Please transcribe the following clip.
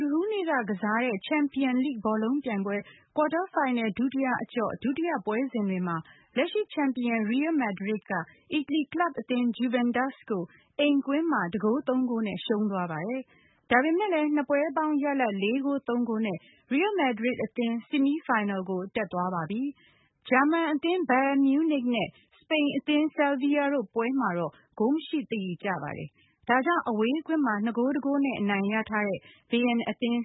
ဒ္ဓဟူးနေ့ကကစားတဲ့ Champions League ဘောလုံးပြိုင်ပွဲ ကွာတားဖိုင်နယ် ဒုတိယအကျော့ ဒုတိယပွဲစဉ်တွေမှာ လက်ရှိ ချန်ပီယံ Real Madrid က အီတလီကလပ်အသင်း Juventus ကို အိမ်ကွင်းမှာ ၁ ဂိုး ၃ ဂိုးနဲ့ ရှုံးသွားပါတယ်။ ဒါပေမဲ့လည်း နှစ်ပွဲ ပေါင်းရလဒ် ၄ ဂိုး ၃ ဂိုးနဲ့ Real Madrid အသင်း ဆီမီးဖိုင်နယ်ကို တက်သွားပါပြီ။ ဂျာမန်အသင်း Bayern Munich နဲ့ စပိန်အသင်း Sevilla တို့ပွဲမှာတော့ ဂိုးမရှိသရေကျပါတယ်။ ဒါကြောင့် အဝေးကွင်းမှာ ၂ ဂိုး ၁ ဂိုးနဲ့ အနိုင်ရထားတဲ့ Bayern အသင်